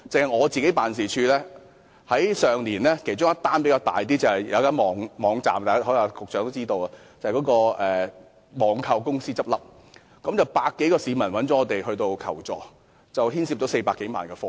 我個人辦事處上年收到涉及人數較多的一宗投訴——局長可能也知道——就是一間網購公司結業，有百多位市民向我們求助，涉及400多萬元的貨物。